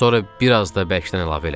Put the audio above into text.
Sonra bir az da bərkdən əlavə elədi.